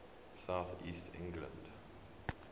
south east england